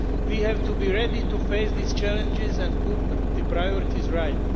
We have to be ready to face these challenges and put the priorities right.